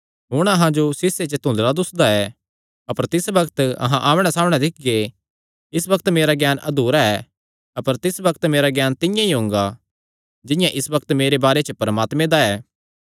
हुण अहां जो सीशे च धुदंल़ा दुस्सा दा ऐ अपर तिस बग्त अहां आमणैसामणै दिक्खगे इस बग्त मेरा ज्ञान अधुरा ऐ अपर तिस बग्त मेरा ज्ञान तिंआं ई हुंगा जिंआं इस बग्त मेरे बारे च परमात्मे दा ऐ